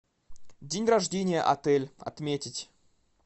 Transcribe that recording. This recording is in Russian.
день рождения отель отметить